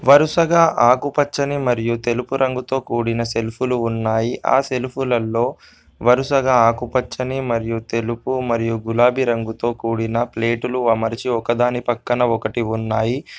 వరుసగా ఆకుపచ్చని మరియు తెలుపు రంగుతో కూడిన సెల్ఫులు ఉన్నాయి. ఆ సెల్ఫులల్లో వరుసగా ఆకుపచ్చని మరియు తెలుపు మరియు గులాబీ రంగుతో కూడిన ప్లేటులు అమర్చి ఒకదాని పక్కన ఒకటి ఉన్నాయి.